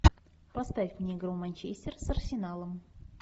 поставь мне игру манчестер с арсеналом